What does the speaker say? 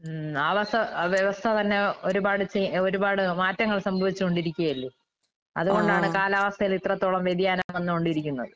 ഉം ആ വര്‍ഷം വ്യവസ്ഥ തന്നെ ഒരുപാട് ചെ ഏഹ് ഒരുപാട് മാറ്റങ്ങൾ സംഭവിച്ചോണ്ടിരിക്കുവല്ലേ. അതുകൊണ്ടാണ് കാലാവസ്ഥേലിത്രത്തോളം വ്യതിയാനം വന്നുകൊണ്ടിരിക്കുന്നത്.